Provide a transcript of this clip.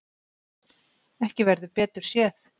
Ekki verður betur séð.